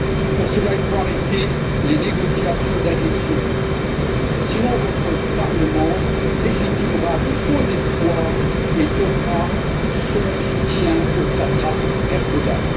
Pour cela, il faut arrêter les négociations d'adhésion, sinon votre Parlement légitimera de faux espoirs et donnera son soutien au satrape Erdogan.